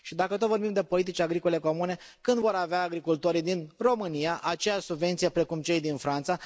Și dacă tot vorbim de politici agricole comune, când vor avea agricultorii din România acea subvenție precum cei din Franța?